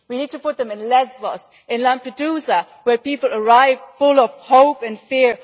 We need to put them in Lesbos and Lampedusa, where people arrive full of hope and fear.